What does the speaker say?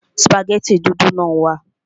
Sùpàgẹ́tì dúdú náà wà